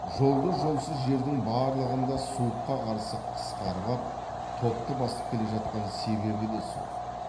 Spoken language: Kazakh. жолды жолсыз жердің барлығында суыққа қарсы қасқарып ап топты басып келе жатқан себебі де сол